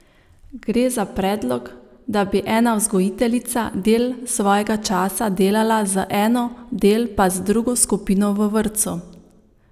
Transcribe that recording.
Gre za predlog, da bi ena vzgojiteljica del svojega časa delala z eno, del pa z drugo skupino v vrtcu.